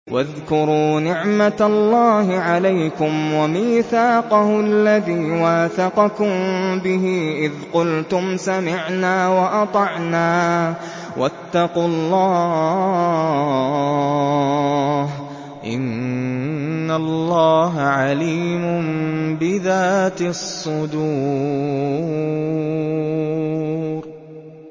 وَاذْكُرُوا نِعْمَةَ اللَّهِ عَلَيْكُمْ وَمِيثَاقَهُ الَّذِي وَاثَقَكُم بِهِ إِذْ قُلْتُمْ سَمِعْنَا وَأَطَعْنَا ۖ وَاتَّقُوا اللَّهَ ۚ إِنَّ اللَّهَ عَلِيمٌ بِذَاتِ الصُّدُورِ